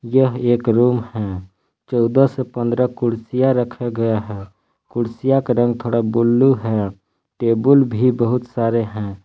यह एक रूम है चौदह से पंद्रह कुर्सियां रखे गया है कुर्सियां का रंग थोड़ा ब्ल्यू है टेबुल भी बहुत सारे है।